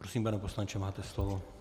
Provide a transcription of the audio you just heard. Prosím, pane poslanče, máte slovo.